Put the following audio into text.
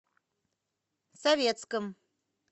советском